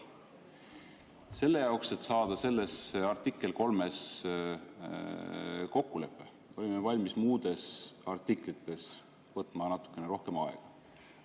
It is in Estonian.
Selle jaoks, et saada selles artiklis 3 kokkulepe, olime valmis muudes artiklites võtma natukene rohkem aega.